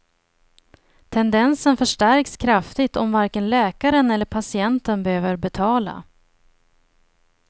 Tendensen förstärks kraftigt om varken läkaren eller patienten behöver betala.